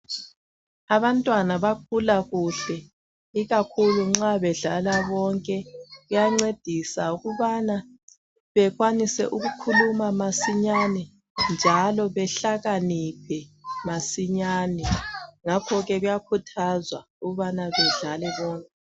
Abantwana bakhula kuhle ikakhulu nxa bedlala bonke kuyancedisa ukubana bekwanise ukukhuluma masinyane njalo behlakaniphe masinyane ngakho ke kuyakhuthazwa ukubana bedlale bonke